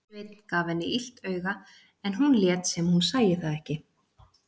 Sveinn gaf henni illt auga en hún lét sem hún sæi það ekki.